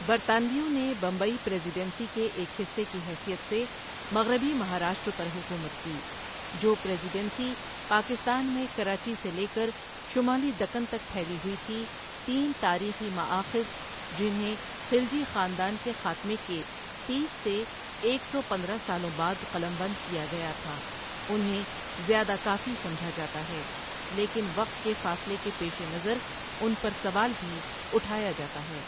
برطانویوں نے Bombay presidency کے ایک حصے کی حیثیت سے مغربی مہاراشٹر پر حکومت کی، جو پریسی ڈنسی پاکستان میں کراچی سے لے کر شمالی دکن تک پھیلی ہوئی تھی تین تاریخی مآخذ، جنہیں خلجی خاندان کے خاتمے کے تیس سے ایک سوپندرہ سالوں بعد قلمبند کیا گیا تھا، انہیں زیادہ کافی سمجھا جاتا ہے لیکن وقت کے فاصلے کے پیش نظر ان پرسوال بھی اٹھایا جاتا ہے۔